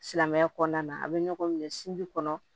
Silamɛya kɔnɔna na a bɛ ɲɔgɔn minɛ sinji kɔnɔ